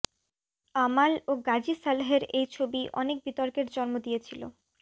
আমাল ও গাজি সালহের এই ছবি অনেক বিতর্কের জন্ম দিয়েছিল